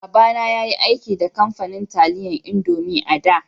Baba na ya yi aiki da kamfanin taliyan indomie a'da.